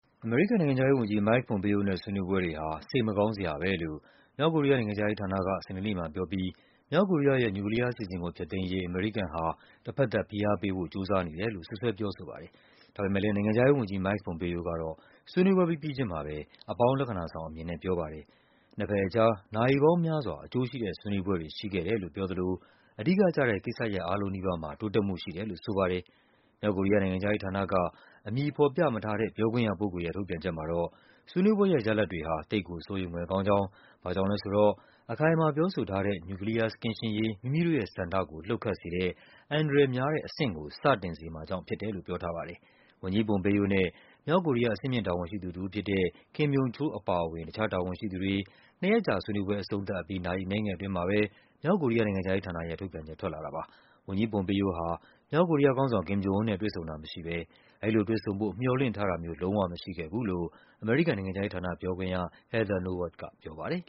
အမေရိကန်နိုင်ငံခြားရေးဝန်ကြီး Mike Pompeo နဲ့ ဆွေးနွေးပွဲတွေဟာ “စိတ်မကောင်း စရာပဲ” လို့ မြောက်ကိုရီးယားနိုင်ငံခြားရေး ဌာနက စနေနေ့မှာပြောပြီး မြောက်ကိုရီးယားရဲ့ နျူကလီးယားအစီအစဉ်ကို ဖျက်သိမ်းရေး အမေရိကန်ဟာ တဘက်သတ် ဖိအား ပေးဖို့ ကြိုးစားနေတယ်လို့ စွပ်စွဲ ပြောဆိုပါတယ်။ ဒါပေမဲ့ နိုင်ငံခြားရေးဝန်ကြီး Mike Pompeo ကတော့ ဆွေးနွေးပွဲပြီးပြီးချုင်းမှာပဲ အပေါင်း လက္ခဏာဆောင်အမြင်နဲ့ ပြောပါတယ်။ နှစ်ဘက်အကြား “နာရီပေါင်းများစွာ အကျိုးရှိတဲ့ ဆွေးနွေးပွဲတွေ” ရှိခဲ့တယ်လို့ပြောသလို “အဓိကကျတဲ့ ကိစ္စရပ်အားလုံးနီးပါးမှာ တိုးတက်မှု” ရှိတယ်လို့ ဆိုပါတယ်။ မြောက်ကိုရီးယား နိုင်ငံခြားရေးဌာနက အမည်ဖော်ပြမထားတဲ့ ပြောခွင့်ရပုဂ္ဂိုလ်ရဲ့ ထုတ်ပြန်ချက် မှာတော့ ဆွေးနွေးပွဲရဲ့ ရလဒ် တွေဟာ “သိပ်ကိုစိုးရိမ်ဖွယ်” ကောင်းကြောင်း၊ ဘာကြောင့်လဲဆို “အခိုင်အမာပြောဆိုထားတဲ့ နျူကလီးယားကင်းရှင်းရေး မိမိတို့ ရဲ့ဆန္ဒကို လှုပ်ခတ်စေတဲ့ အန္တရာယ်များတဲ့အဆင့်” ကို စတင်စေမှာကြောင့်ဖြစ်တယ်လို့ ပြောထားပါတယ်။ ဝန်ကြီး Pompeo နဲ့ မြောက်ကိုရီးယား အဆင့်မြင့်တာဝန်ရှိသူတဦးဖြစ်တဲ့ Kim Yong Chol အပါအဝင် တခြားတာဝန်ရှိသူတွေ နှစ်ရက်ကြာဆွေးနွေးပွဲ အဆုံးသတ်ပြီး နာရီအနည်းငယ်အတွင်းမှာပဲ မြောက်ကိုရီးယား နိုင်ငံခြားရေးဌာနရဲ့ ထုတ်ပြန်ချက် ထွက်လာတာပါ။ ဝန်ကြီး Pompeo ဟာ မြောက်ကိုရီးယားခေါင်းဆောင် Kim Jong Un နဲ့ တွေ့ဆုံတာမရှိဘဲ အဲဒီလိုတွေ့ဆုံဖို့ မျှော်လင့်ထားတာမျိုး လုံးဝမရှိခဲ့ဘူးလို့ အမေရိကန်နိုင်ငံခြားရေးဌာန ပြောခွင့်ရ Heather Nauert ကပြောပါတယ်